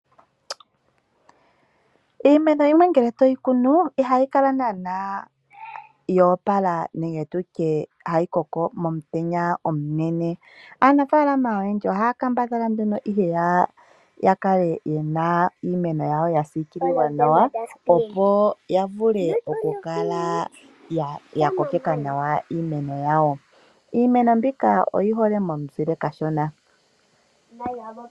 Iimeno yimwe ngele toyi kunu ihayi kala naana yoopala nenge tutye hayi koko momutenya omunene. Aanafaalama oyendji ohaya kambadhala nduno ihe ya kale yena iimeno yawo ya siikililwa nawa. Opo ya vule oku kala ya kokeka nawa iimeno yawo. Iimeno mbika oyi hole mo muzile kashona.